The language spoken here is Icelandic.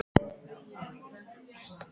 Ætli þýddi mikið að fara í kapp!